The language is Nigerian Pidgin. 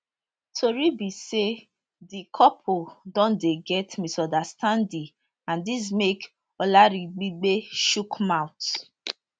tori be say di couple don dey get misunderstanding and dis make olaribigbe chook mouth